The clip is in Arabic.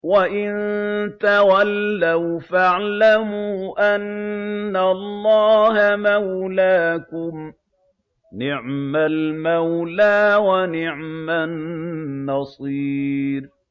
وَإِن تَوَلَّوْا فَاعْلَمُوا أَنَّ اللَّهَ مَوْلَاكُمْ ۚ نِعْمَ الْمَوْلَىٰ وَنِعْمَ النَّصِيرُ